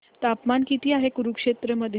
तापमान किती आहे कुरुक्षेत्र मध्ये